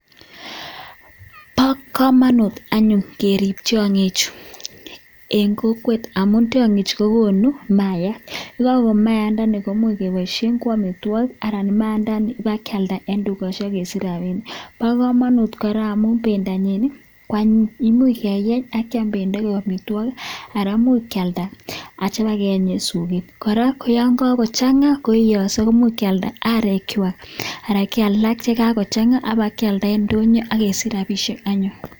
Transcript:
Bokomonut anyun kerib tiong'chu en kokwet amun tiong'ichu kogonu maayat. Ye kakogon maayandani komuch keboishen ko amitwogik anan maayandani kebakealda en tugoshek ak kesich rabinik. Bo komonut kora amun bendonyin ko anyin, imuch keyeny ak kyam bendo koik amitwogik anan imuch kealda ak kityo kebakeyeny en soket. Kora koyon kagochang;a koiyoso koimuch kyalda arekywak anan kebai ye kagochang'a kebakealda en ndonyo ak kesich rabinik.